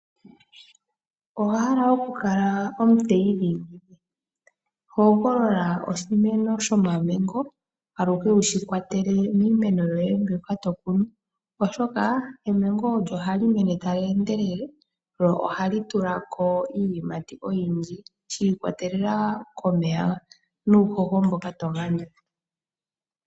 Owa hala okukala omuteyi dhingi? Hogolola oshimeno shomamango aluhe wushi kwatele miimeno yoye mbyoka to kunu, oshoka emango ohali mene tali endelele lo ohi tulako iiyimati oyindji shi ikwatelela komeya nuuhoho mboka to gandja.